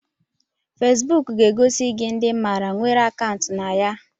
Fesebuk ga-egosi gị ndị ịmara nwere akaụntụ na ya